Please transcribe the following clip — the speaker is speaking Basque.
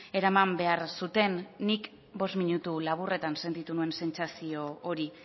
eraman behar zuten nik bost minutu laburretan sentitu nuen sentsazio hori